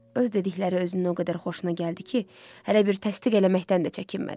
Öz dedikləri özünün o qədər xoşuna gəldi ki, hələ bir təsdiq eləməkdən də çəkinmədi.